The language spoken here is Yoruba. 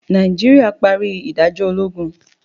Naijiria pari idajọ ologun.